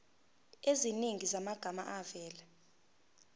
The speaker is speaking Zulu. eziningi zamagama avela